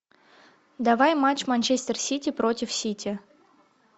давай матч манчестер сити против сити